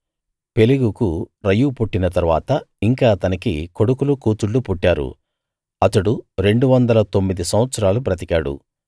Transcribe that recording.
పెలెగుకు Reu పుట్టిన తరువాత ఇంకా అతనికి కొడుకులు కూతుళ్ళు పుట్టారు అతడు రెండువందల తొమ్మిది సంవత్సరాలు బతికాడు